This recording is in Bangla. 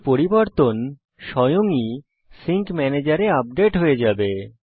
এই পরিবর্তন স্বয়ং ই সিঙ্ক ম্যানেজের এ আপডেট হয়ে যাবে